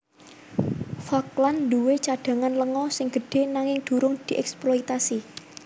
Falkland duwé cadhangan lenga sing gedhé nanging durung dièksploitasi